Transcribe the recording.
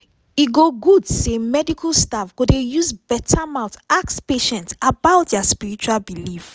e go good say medical staff go dey use beta mouth ask patient about dia spiritual belief.